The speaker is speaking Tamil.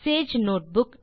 Sage notebook